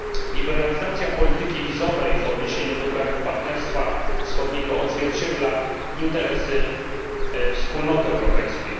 Liberalizacja polityki wizowej w odniesieniu do krajów Partnerstwa Wschodniego odzwierciedla interesy Wspólnoty Europejskiej.